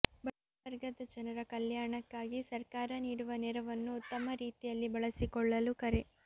ಬಡವರ್ಗದ ಜನರ ಕಲ್ಯಾಣಕ್ಕಾಗಿ ಸರ್ಕಾರ ನೀಡುವ ನೆರವನ್ನು ಉತ್ತಮ ರೀತಿಯಲ್ಲಿ ಬಳಸಿಕೊಳ್ಳಲು ಕರೆ